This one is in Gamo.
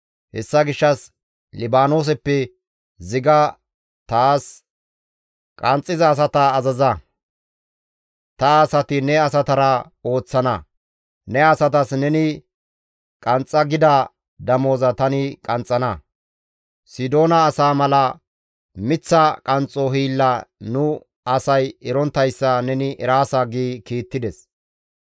Hessa gishshas Libaanooseppe ziga taas qanxxiza asata azaza; ta asati ne asatara ooththana; ne asatas neni qanxxa gida damoza tani qanxxana. Sidoona asaa mala miththa qanxxo hiilla nu asay eronttayssa neni eraasa» gi kiittides.